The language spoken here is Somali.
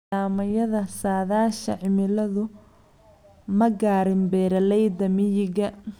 Nidaamyada saadaasha cimiladu ma gaarin beeralayda miyiga.